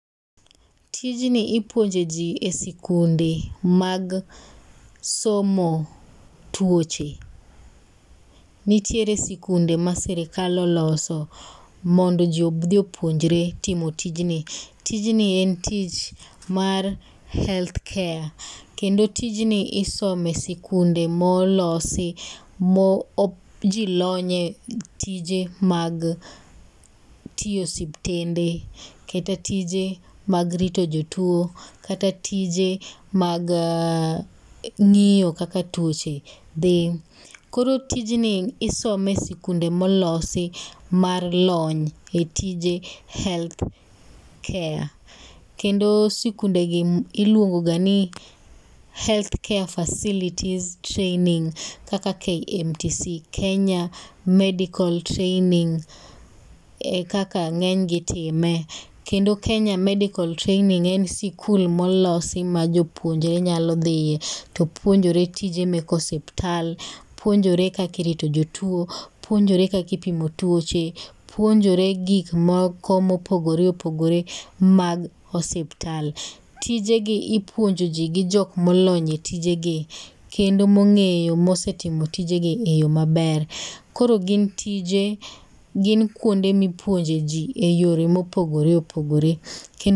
Tijni ipuoje jii e sikunde mag somo tuoche. Nitiere sikunde ma sirikal oloso mondo jii odhi opuonjre timo tijni tijni en tich mar healthcare kendo tijni isome sikunde molosi ma jii lonye tije mag tiye osiptende kata tije mag rito jotuo kata tije mag ng'iyo kaka tuoche dhi. Koro tijni isome sikunde molosi mar lony e tije healthcare kendo sikunde gi iluongo ga ni health care facilities training kata KMTC kenya medical training e kaka ng'eny gi itime kendo kenya medical training en sikul ma olosi ma jopuonjre nyalo dhiye to puonjore tije mek osiptal ,puonjore kaki rito jotuo, puonjore kaki pimo tuoche, puonjore gik moko mopogore opogore mag osiptal .Tijegi ipuonjo jii gi jok molony e tijegi kendo mong'eyo mosetimo tijegi e yoo maber . Koro gin tije gin kuonde mipuonje jii e yore mopogore opogore kendo